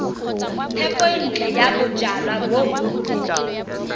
thekontle ya bojalwa bo bontsi